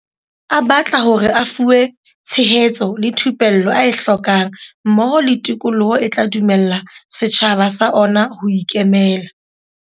A batla hore a fuwe tshe hetso le thupello a e hlokang mmoho le tikoloho e tla dumella setjhaba sa ona ho ikemela.